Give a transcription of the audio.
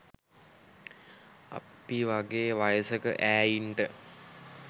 අපි වගේ වසයක ඈයින්ට